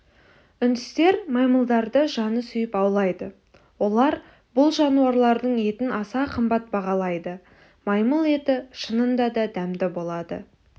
үндістер маймылдарды жаны сүйіп аулайды олар бұл жануарлардың етін аса қымбат бағалайды маймыл еті шынында да дәмді болады